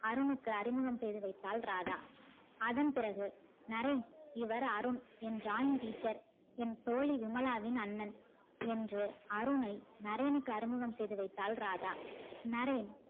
அருணுக்கு அறிமுகம் செய்து வைத்தாள் ராதா அதன் பிறகு நரேன் இவர் அருண் என் drawing teacher என் தோழி விமலாவின் அண்ணன் என்று அருணை நர்ரேன்க்கு அறிமுகம் செய்து வைத்தாள் ராதா நரேன்